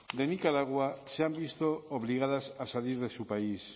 de nicaragua se han visto obligadas a salir de su país